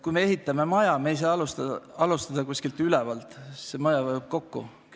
Kui ehitame maja, ei saa me alustada ülevalt – näiteks gümnaasiumist –, see maja vajuks kokku.